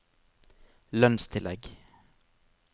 lønnstillegg